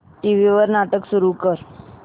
TV वर नाटक सुरू कर